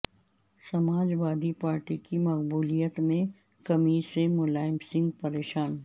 Samajwadi party کی مقبولیت میں کمی سے ملائم سنگھ پریشان